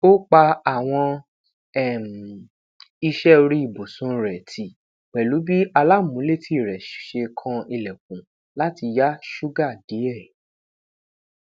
o pa awọn um iṣẹ ori ibusun rẹ ti pẹlu bi alamuuleti rẹ ṣe kan ilẹkun lati ya ṣuga diẹ